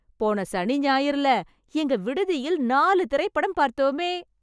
போன சனி, ஞாயிறுல எங்க விடுதியில் நாலு திரைப்படம் பார்த்தோமே...